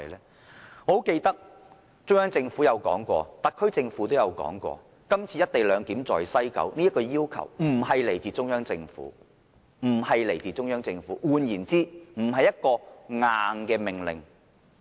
我十分記得中央政府和特區政府曾說過，今次西九總站實施"一地兩檢"的要求並非來自中央政府，換言之，這並不是"硬命令"。